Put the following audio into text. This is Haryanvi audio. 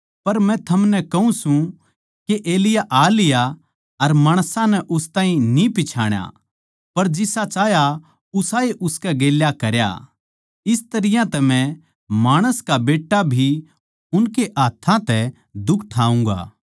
पर मै थमनै कहूँ सूं के एलिय्याह आ लिया अर माणसां नै उस ताहीं न्ही पिच्छाणा पर जिसा चाह्या उसाए उसकै गेल्या करया इस तरियां तै मै माणस का बेट्टा भी उनकै हाथ्थां तै दुख ठाऊँगा